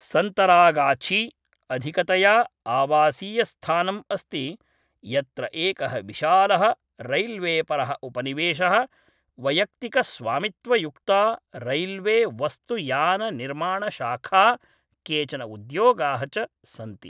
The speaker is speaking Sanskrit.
सन्तरागाछी अधिकतया आवासीयस्थानम् अस्ति यत्र एकः विशालः रैल्वेपरः उपनिवेशः वैयक्तिकस्वामित्वयुक्ता रैल्वेवस्तुयाननिर्माणशाखा केचन उद्योगाः च सन्ति।